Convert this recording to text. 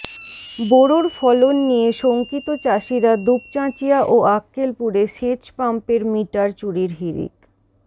বোরোর ফলন নিয়ে শঙ্কিত চাষিরা দুপচাঁচিয়া ও আক্কেলপুরে সেচ পাম্পের মিটার চুরির হিড়িক